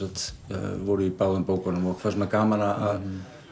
voru í báðum bókunum gaman að